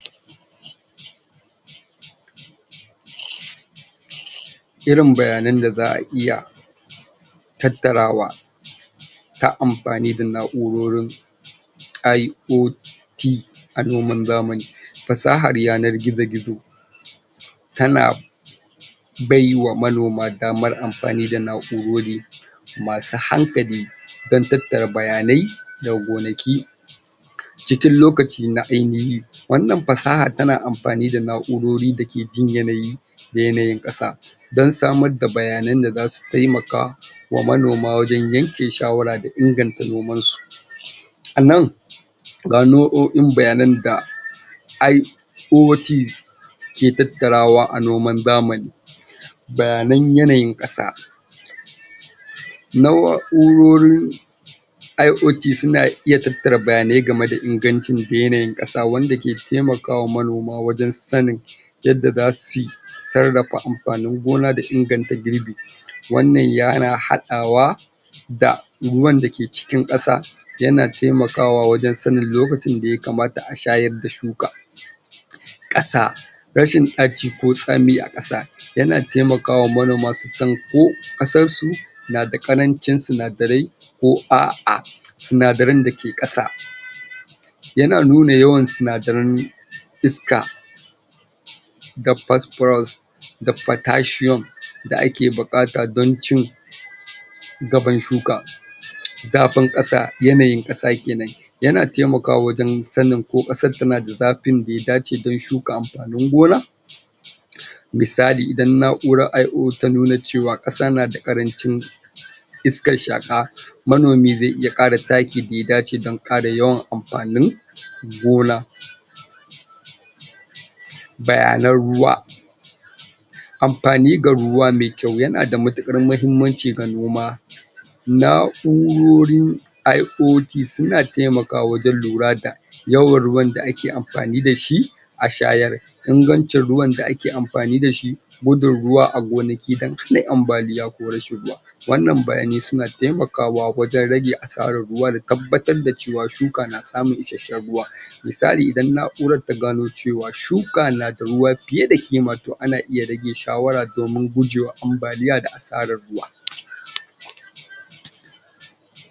?? Irin bayanan da za a iya tattarawa ta amfani da na'urorin I.O T a noman zamani. Fasahar yanar gizo-gizo ta na ta na bai wa manoma damar amfani da na'urori ma su hankali don tattara bayanai daga gonaki cikin lokaci na ainahi. Wannan fasaha ta na amfani da na'urori ma su jin yanayi da yanayin ƙasa don samar da bayanan da za su taimaka wa manoma wajen yanke shawara da inganta nomansu,? a nan ga nau'o'in bayanan da I.O.T ke tattarawa a noman zamani. Bayanan yanayin ƙasa.? Na'urorin I.O.T su na iya tattara bayanai game da ingancin ƙasa wanda ke taimaka wa manoma wajen sanin yadda za su sarrafa amfanin gona da inganta girbi, wannan ya na haɗawa da ruwan da ke cikin ƙasa, ya na taimakawa wajen sanin lokacin da yakamata a shayar da shuka. Ƙasa Rashin ɗaci ko tsami a ƙasa, ya na taimaka wa manoma su san ƙasarsu na da ƙarancin sinadarai ko a'a, sinadaran da ke ƙasa, ya na nuna yawan sindaran iska da phosphorus da potassium da ake buƙata don ci gaban shuka, zafin ƙasa yanayin ƙasa kenan, ya na taimakawa wajen sanin ko ƙasar ta na da zafin da ya dace don shuka amfanin gona, misali: Idan na'urar I.O ta nuna ce wa ƙasa ta na da ƙarancin iskar shaƙa, manomi zai iya ƙara takin da ya dace don ƙara yawan amfanin gona. Bayanan ruwa, amfani da ruwa mai kyau ya na da matuƙar mahimmanci ga noma, na'urorin I.O.T su na taimakawa wajen lura da yawan ruwan da ake amfani da shi a shayar, ingancin ruwan da ake amfani da shi, gudun ruwa a gonaki don hana ambaliya ko rashin ruwa, wannan bayanai su na taikawa wajen rage asarar ruwa da tabbatar da ce wa shuka na samun isashshen ruwa misali: Idan na'urar ta gano ce wa shuka na da ruwa fiye da kima to ana iya rage shawara domin gujewa ambaliya da asarar ruwa.